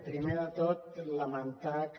primer de tot lamentar que